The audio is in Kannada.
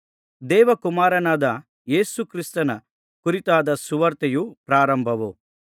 ದೇವಕುಮಾರನಾದ ಯೇಸು ಕ್ರಿಸ್ತನ ಕುರಿತಾದ ಸುವಾರ್ತೆಯ ಪ್ರಾರಂಭವು